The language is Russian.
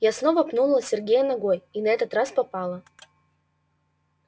я снова пнула сергея ногой и на этот раз попала